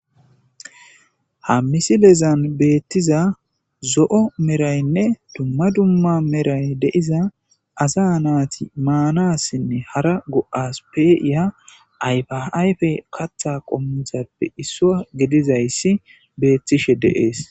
Ha misilezan beettiza zo'o meraynne dumma dumma meray de'iza asa naati maanassinne hara go7as peiya ayfa ayfe katha qommuthappe issuwa gedizayssi beettishe deees.